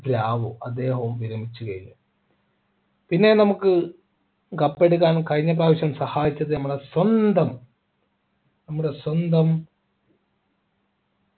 അദ്ദേഹവും വിരമിച്ചു കഴിഞ്ഞു പിന്നെ നമുക്ക് cup എടുക്കാൻ കഴിഞ്ഞപ്രാവശ്യം സഹായിച്ചത് നമ്മുടെ സ്വന്തം നമ്മുടെ സ്വന്തം